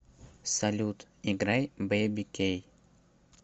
салют играй бэйби кей